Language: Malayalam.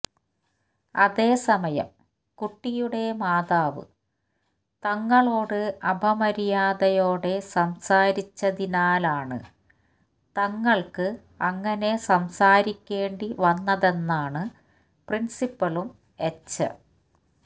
അതേ സമയം കുട്ടിയുടെ മാതാവ് തങ്ങളോട് അപമര്യാദയോടെ സംസാരിച്ചതിനാലാണ് തങ്ങൾക്ക് അങ്ങനെ സംസാരിക്കേണ്ടി വന്നതെന്നാണ് പ്രിൻലിപ്പളും എച്ച